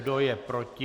Kdo je proti?